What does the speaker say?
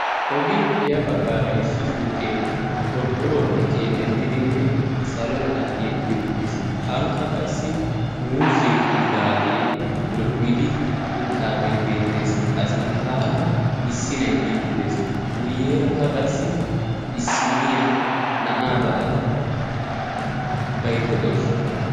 Ogiyapoe ya baggaara issi suyqqee qoriqoruwappe keexettidinne salo meraa tiyetti uttiis. Ankka qassi muuzee ka"idaagee lo"idi uttaagee beettees.A sinttaara issi na'ay biiddi dees. Guyyerakka qassi issinniya na'aa ba"ada baydda dawusu.